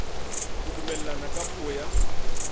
ho dumellana ka puo ya